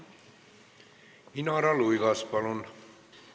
Inara Luigas, palun!